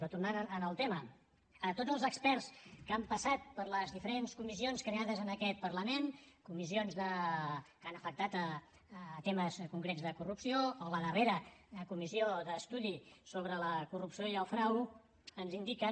però tornant al tema tots els experts que han passat per les diferents comissions creades en aquest parlament comissions que han afectat temes concrets de corrupció o la darrera comissió d’estudi contra la corrupció i el frau ens indiquen